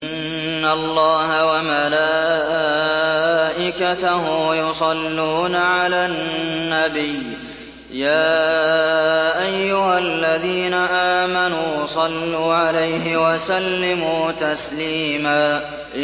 إِنَّ اللَّهَ وَمَلَائِكَتَهُ يُصَلُّونَ عَلَى النَّبِيِّ ۚ يَا أَيُّهَا الَّذِينَ آمَنُوا صَلُّوا عَلَيْهِ وَسَلِّمُوا تَسْلِيمًا